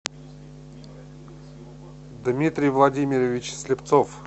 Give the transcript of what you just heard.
дмитрий владимирович слепцов